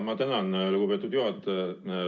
Ma tänan, lugupeetud juhataja!